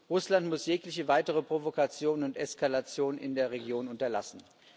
Russland muss jegliche weitere Provokation und Eskalation in der Region unterlassen.